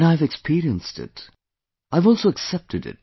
And I have experienced it have also accepted it